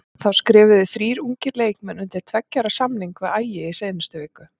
Þá skrifuðu þrír ungir leikmenn undir tveggja ára samning við Ægi í síðustu viku.